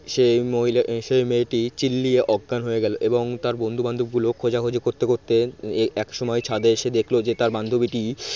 সেই মহিলা সেই মেয়েটি চিল্লিয়ে অজ্ঞান হয়ে গেল। এবং তার বন্ধুবান্ধবগুলো খোঁজাখুঁজি করতে করতে একসময় ছাদে এসে দেখল যে তার বান্ধবীটি